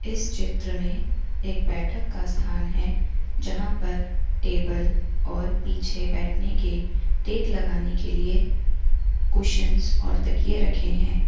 इस चित्र में एक बैठक का स्थान है जहां पर टेबल और पीछे बैठने के टेक लगाने के लिए कुशन्स और तकिये रखे हैं।